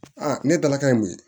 ne dalaka ye mun ye